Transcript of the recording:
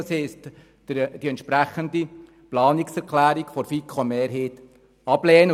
Das heisst, wir müssen die entsprechende Planungserklärung der FiKo-Mehrheit ablehnen.